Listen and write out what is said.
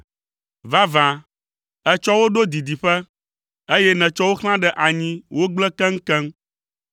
Vavã, ètsɔ wo ɖo didiƒe, eye nètsɔ wo xlã ɖe anyi wogblẽ keŋkeŋ.